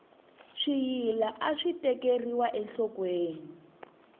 swiyila aswi tekeriwa enhlokweni